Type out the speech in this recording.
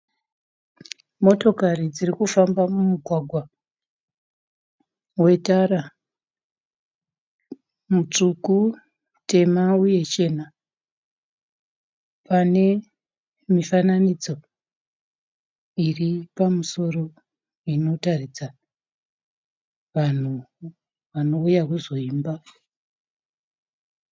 Motokari dziri kufamba mugwagwa wetara mutsvuku, tema uye chena pane mifananidzo iri pamusoro inotaridza vanhu vanouya kuzoimba.